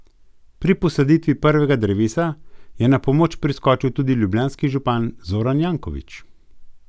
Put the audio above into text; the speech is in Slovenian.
Pri posaditvi prvega drevesa je na pomoč priskočil tudi ljubljanski župan Zoran Janković.